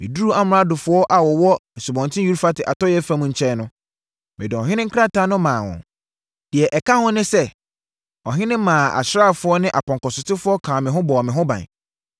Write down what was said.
Meduruu amradofoɔ a wɔwɔ Asubɔnten Eufrate atɔeɛ fam nkyɛn no, mede ɔhene nkrataa no maa wɔn. Deɛ ɛka ho ne sɛ, ɔhene maa asraafoɔ ne apɔnkɔsotefoɔ kaa me ho bɔɔ me ho ban.